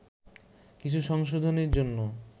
কিছু সংশোধনীর জন্য